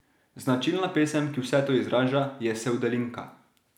Značilna pesem, ki vse to izraža, je sevdalinka.